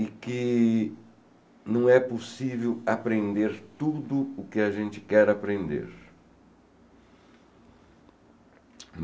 E que não é possível aprender tudo o que a gente quer aprender.